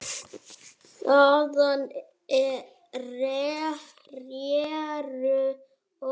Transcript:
Þaðan réru oft tugir báta.